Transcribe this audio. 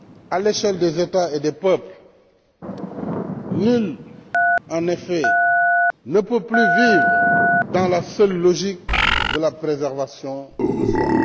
À l'échelle des États et des peuples, nul, en effet, ne peut plus vivre dans la seule logique de la préservation de soi.